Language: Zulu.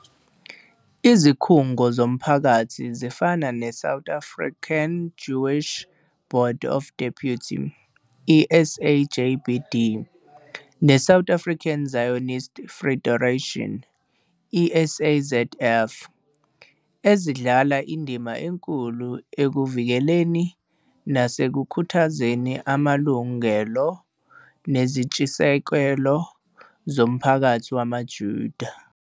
Izikhungo zomphakathi zifana neSouth African Jewish Board of Deputies, i-SAJBD, neSouth African Zionist Federation i-SAZF, ezidlala indima enkulu ekuvikeleni nasekukhuthazeni amalungelo nezintshisekelo zomphakathi wamaJuda.